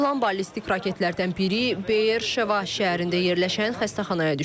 Atılan ballistik raketlərdən biri Beerşeva şəhərində yerləşən xəstəxanaya düşüb.